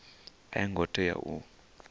a yo ngo tea u